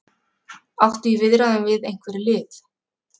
Áttu í viðræðum við einhver lið?